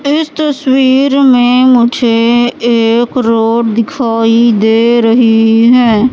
इस तस्वीर में मुझे एक रोड दिखाई दे रही है।